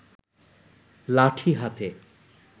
লাঠি হাতে